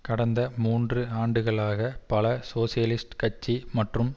கடந்த மூன்று ஆண்டுகளாக பல சோசியலிஸ்ட் கட்சி மற்றும்